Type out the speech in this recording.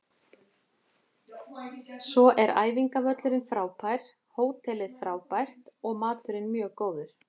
Svo er æfingavöllurinn frábær, hótelið frábært og maturinn mjög góður.